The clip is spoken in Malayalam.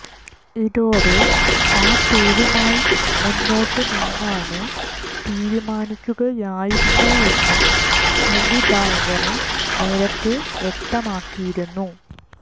ഇതോടെ ആ പേരുമായി മുന്നോട്ട് നീങ്ങാന് തീരുമാനിക്കുകയായിരുന്നുവെന്ന് സംവിധായകന് നേരത്തെ വ്യക്തമാക്കിയിരുന്നു